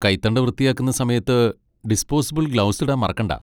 കൈത്തണ്ട വൃത്തിയാക്കുന്ന സമയത്ത് disposable gloves ഇടാൻ മറക്കണ്ട.